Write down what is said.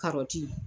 Karɔti